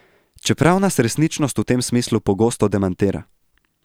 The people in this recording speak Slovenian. Čeprav nas resničnost v tem smislu pogosto demantira.